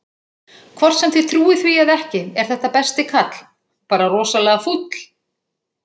Hvort sem þið trúið því eða ekki, er þetta besti kall, bara rosalega fúll.